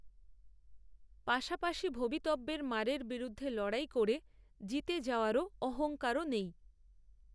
পাশাপাশি ভবিতব্যের মারের বিরুদ্ধে লড়াই করে জিতে যাওয়ারও অহঙ্কারও নেই